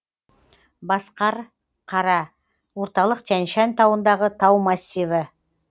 басқарқара орталық тянь шань тауындағы тау массиві